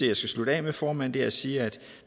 jeg så slutter af med formand er at sige at